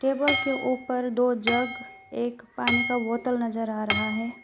Table के ऊपर दो जग एक पानी का बोतल नजर आ रहा है।